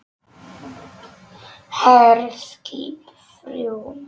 HERSKIP ÞRJÚ